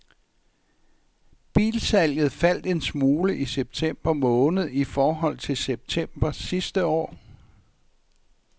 Bilsalget faldt en smule i september måned i forhold til september sidste år.